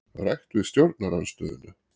Rætt við stjórnarandstöðuna